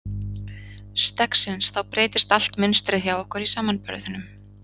Steggsins þá breytist allt mynstrið hjá okkur í samanburðinum.